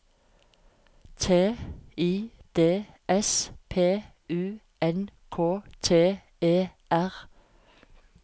T I D S P U N K T E R